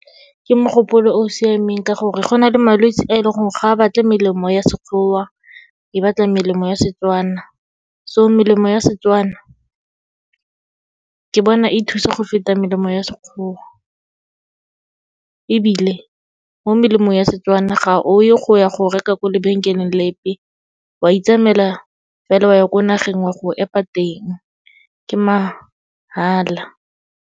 Ke mogopolo o o siameng ka gore, go na le malwetse a e leng gore ga a batla melemo ya Sekgowa, e batla melemo ya Setswana. So melemo ya Setswana, ke bona e thusa go feta melemo ya Sekgowa, ebile mo melemong ya Setswana ga o e go ya go reka ko lebenkeleng lepe, wa itsamaela fela wa ya ko nageng wa go epa teng, ke mahala.